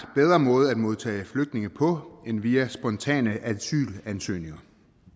måde at modtage flygtninge på end via spontane asylansøgninger